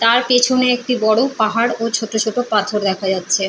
তার পেছনে একটি বড় পাহাড় ও ছোটো ছোটো পাথর দেখা যাচ্ছে।